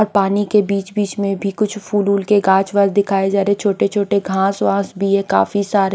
और पानी के बीच बीच मे भी कुछ फूल वूल के काँच वाच दिखाए जारे छोटे छोटे घास वास भी है काफी सारे--